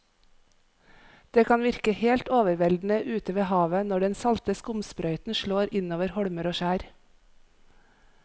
Det kan virke helt overveldende ute ved havet når den salte skumsprøyten slår innover holmer og skjær.